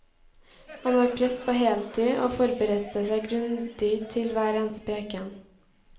Han var prest på heltid og forberedte seg grundig til hver eneste preken.